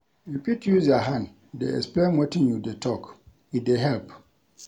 You fit use your hand dey explain wetin you dey tok, e dey help.